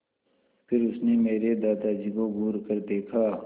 फिर उसने मेरे दादाजी को घूरकर देखा